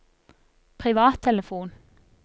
privattelefon